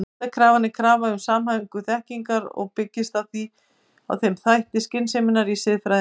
Heildarkrafan er krafa um samhæfingu þekkingar og byggist því á þætti skynseminnar í siðfræðinni.